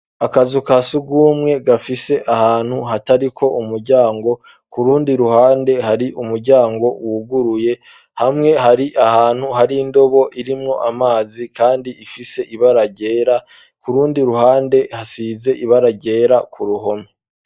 Akazu ka sugumwe gafise ahantu hatariko umuryango ku rundi ruhande hari umuryango wuguruye hamwe hari ahantu hari indobo irimwo amazi kandi ifise ibara ryera ku rundi ruhande hasize ibara ryera ku ruhome.